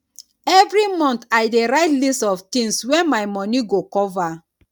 every month i dey write list of things wey my money go cover